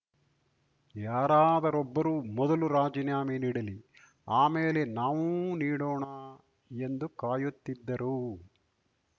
ಯಾರಾದರೊಬ್ಬರು ಮೊದಲು ರಾಜೀನಾಮೆ ನೀಡಲಿ ಆಮೇಲೆ ನಾವೂ ನೀಡೋಣ ಎಂದು ಕಾಯುತ್ತಿದ್ದರು